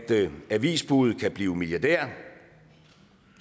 avisbudet kan blive milliardær